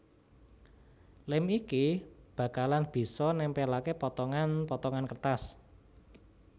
Lem iki bakalan bisa nempelake potongan potongan kertas